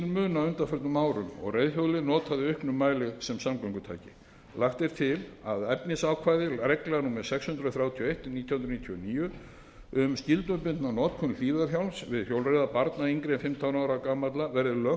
muna á undanförnum árum og reiðhjólið er notað í auknum mæli sem samgöngutæki lagt er til að efnisákvæði reglna númer sex hundruð þrjátíu og eitt nítján hundruð níutíu og níu um skyldubundna notkun hlífðarhjálms við hjólreiðar barna yngri en fimmtán ára gamalla verði lögfest